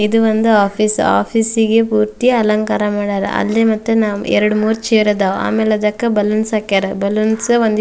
ಇದು ಒಂದು office office ಗೆ ಪೂರ್ತಿ ಅಲಂಕಾರ ಮಾಡ್ಯಾರ ಅಲ್ಲಿ ಮತ್ತ ಎರಡ್ ಮೂರ್ ಚೇರ್ ಅದಾವ ಆಮೇಲ್ ಅದಕ್ಕ ಬಲೂನ್ಸ್ ಹಾಕ್ಯಾರ ಬಲೂನ್ಸ್ ಒಂದಿ --